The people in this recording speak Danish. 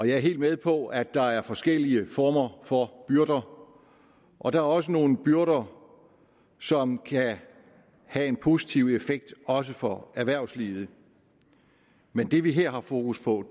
jeg er helt med på at der er forskellige former for byrder og der er også nogle byrder som kan have en positiv effekt også for erhvervslivet men det vi her har fokus på